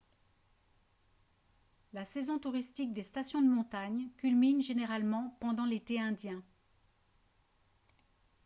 la saison touristique des stations de montagne culmine généralement pendant l'été indien